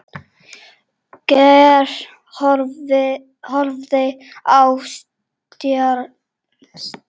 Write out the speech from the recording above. Geir horfði á Stjána.